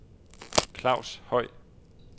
Claus Høj